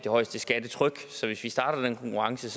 højeste skattetryk så hvis vi starter den konkurrence